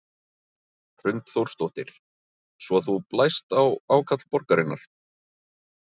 Hrund Þórsdóttir: Svo þú blæst á ákall borgarinnar?